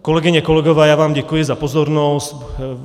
Kolegyně, kolegové, já vám děkuji za pozornost.